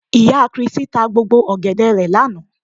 Ìyá kiristí ta gbogbo ọ̀gẹ̀dẹ̀ rẹ̀ lánàá